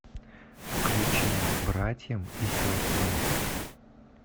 включи братьям и сестрам